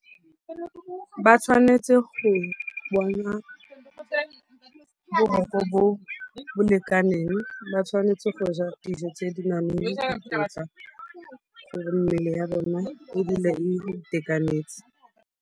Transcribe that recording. Ba tshwanetse go bona boroko bo bo lekaneng. Ba tshwanetse go ja dijo tse di nang le dikotla gore mmele ya bona e dule e itekanetse.